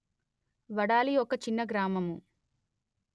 వడాలి ఒక చిన్న గ్రామము